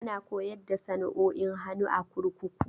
Ana koyar da sana'o'in hannu a kurkuku.